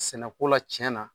Sɛnɛko la tiɲɛna